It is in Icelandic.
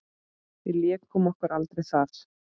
Við lékum okkur aldrei þar.